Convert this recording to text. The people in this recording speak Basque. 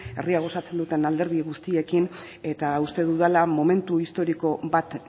herria osatzen duten alderdi guztiekin eta uste dudala momentu historiko bat